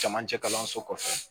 Camancɛ kalanso kɔfɛ